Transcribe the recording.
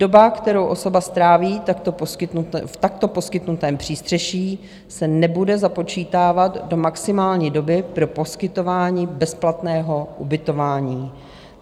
Doba, kterou osoba stráví v takto poskytnutém přístřeší, se nebude započítávat do maximální doby pro poskytování bezplatného ubytování.